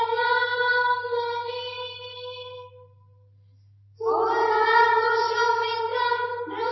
Vande Mataram